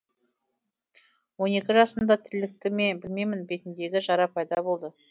он екі жасында тілікті ме білмеймін бетіндегі жара пайда болды